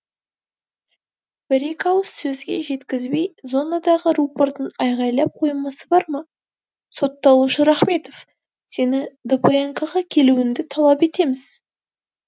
бір екі ауыз сөзге жеткізбей зонадағы рупордың айғайлап қоймасы бар ма сотталушы рахметов сені дпнк ға келуіңді талап етеміз